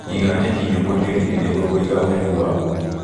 Iga nyeki nyũmũ tĩriinĩ nĩguo kũiga ũhehu waguo.